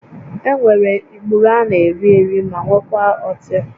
Enwere ikpuru a na-eri eri ma nwekwaa ọtị